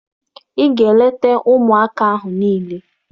Ị ga-eleta ụmụaka ahụ niile!